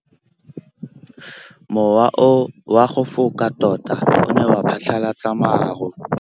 Mowa o wa go foka tota o ne wa phatlalatsa maru.